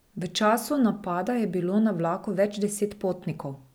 V času napada je bilo na vlaku več deset potnikov.